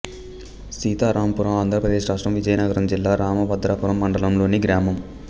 సీతారాంపురం ఆంధ్ర ప్రదేశ్ రాష్ట్రం విజయనగరం జిల్లా రామభద్రాపురం మండలంలోని గ్రామం